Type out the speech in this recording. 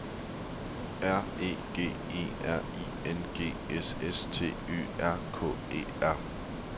R E G E R I N G S S T Y R K E R